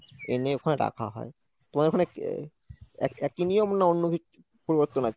এনে ওখানে রাখা হয়। তোমাদের ওখানে একই নিয়ম নাকি অন্য কিছু পরিবর্তন আছে?